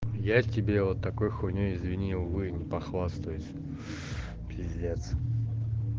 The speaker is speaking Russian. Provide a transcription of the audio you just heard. я тебе вот такой хуйней извини увы не похвастаюсь пиздец